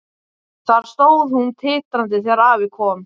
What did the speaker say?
Þar stóð hún titrandi þegar afi kom.